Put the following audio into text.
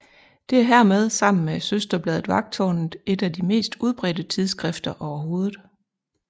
Det er hermed sammen med søsterbladet Vagttårnet et af de mest udbredte tidsskrifter overhovedet